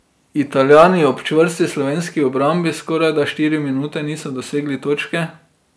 Italijani ob čvrsti slovenski obrambi skorajda štiri minute niso dosegli točke.